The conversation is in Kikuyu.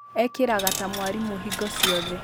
ekĩraga ta mwarimũ hingo ciothe